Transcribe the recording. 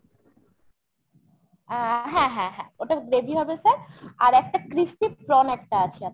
আ হ্যাঁ হ্যাঁ হ্যাঁ। ওটা gravy হবে sir। আর একটা crispy prawn একটা আছে আপনার।